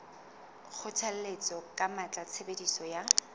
kgothalletsa ka matla tshebediso ya